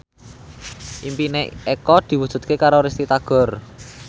impine Eko diwujudke karo Risty Tagor